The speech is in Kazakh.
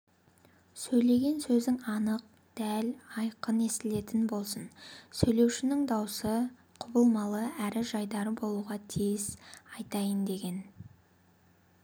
сөйлеген сөзің анық дәл айқын естілетін болсын сөйлеушінің даусы құбылмалы әрі жайдары болуға тиіс айтайын деген